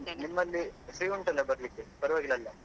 ನಿಮ್ಮಲ್ಲಿ free ಉಂಟಲ್ಲ ಬರ್ಲಿಕ್ಕೆ ಪರವಾಗಿಲ್ಲ ಅಲ್ಲಾ.